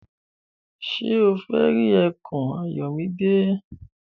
Ṣé o fẹ́ rí ẹkùn Ayọ̀mídé?